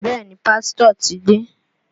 Bẹẹ ni, Pásítọ̀ ti dé.